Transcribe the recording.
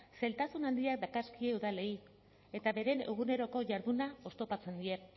zailtasun handiak dakarzkie udalei eta beren eguneroko jarduna oztopatzen die